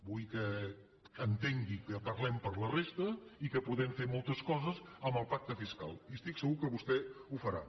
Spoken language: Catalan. vull que entengui que parlem per la resta i que podem moltes coses amb el pacte fiscal i estic segur que vostè ho farà